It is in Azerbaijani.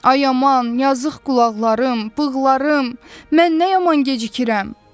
Ay aman, yazıq qulaqlarım, bığlarım, mən nə yaman gecikirəm.